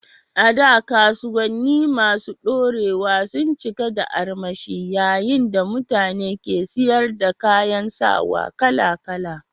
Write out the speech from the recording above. A da, kasuwanni masu ɗorewa sun cika da armashi yayin da mutane ke siyar da kayan sawa kala-kala.